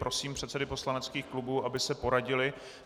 Prosím předsedy poslaneckých klubů, aby se poradili.